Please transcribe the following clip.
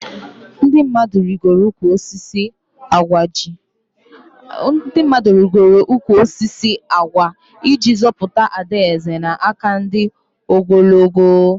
Ndị mmadụ rigoro ụkwụ osisi agwa iji zọpụta Ada Eze na aka ndị ogologo